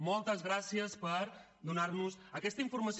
moltes gràcies per donar nos aquesta informació